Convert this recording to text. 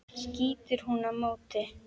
skýtur hún á móti.